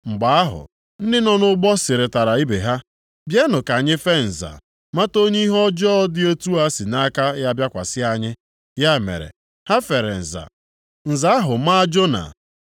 Mgbe ahụ, ndị nọ nʼụgbọ sịrịtara ibe ha, “Bịanụ ka anyị fee nza mata onye ihe ọjọọ dị otu a sị nʼaka ya bịakwasị anyị.” Ya mere, ha fere nza, nza ahụ a maa Jona.